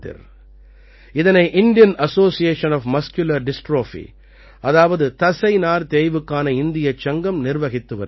இதனை Indian association of muscular dystrophy அதாவது தசைநார் தேய்வுக்கான இந்தியச் சங்கம் நிர்வகித்து வருகிறது